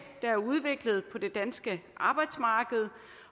der er udviklet på det danske arbejdsmarked